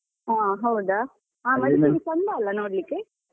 ಹಾ ಹೌದಾ! ಹಾ Madikeri ಚಂದ ಅಲ್ಲ ನೋಡ್ಲಿಕ್ಕೆ.